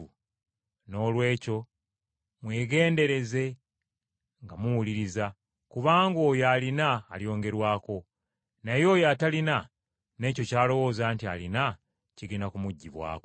Noolwekyo mwegendereze nga muwuliriza, kubanga oyo alina alyongerwako; naye oyo atalina, n’ekyo ky’alowooza nti alina kigenda kumuggyibwako.”